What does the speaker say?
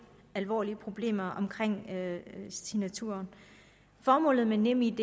alvorlige problemer med signaturen formålet med nemid